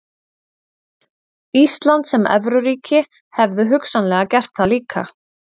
Ísland sem evruríki hefðu hugsanlega gert það líka.